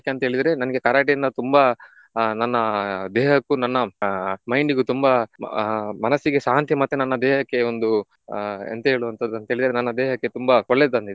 ಯಾಕಂತ ಹೇಳಿದ್ರೆ ನಂಗೆ Karate ಇಂದ ತುಂಬಾ ಆಹ್ ನನ್ನ ದೇಹಕ್ಕೂ ನನ್ನ ಆಹ್ mind ಇಗೂ ತುಂಬಾ ಆಹ್ ಮನಸ್ಸಿಗೆ ಶಾಂತಿ ಮತ್ತೆ ನನ್ನ ದೇಹಕ್ಕೆ ಒಂದು ಆಹ್ ಎಂತ ಹೇಳುವಂತದ್ದು ಅಂತ ಹೇಳಿದ್ರೆ ನನ್ನ ದೇಹಕ್ಕೆ ತುಂಬ ತಂದಿದೆ.